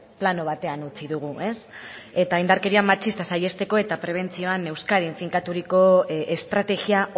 plano batean utzi dugu eta indarkeria matxista saihesteko eta prebentzioan euskadin finkaturiko estrategia